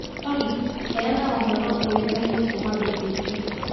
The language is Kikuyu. Olly, heana ũhoro uikaine kuuma B.B.C.